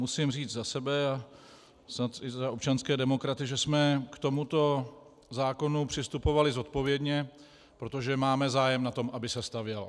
Musím říct za sebe a snad i za občanské demokraty, že jsme k tomuto zákonu přistupovali zodpovědně, protože máme zájem, na tom, aby se stavělo.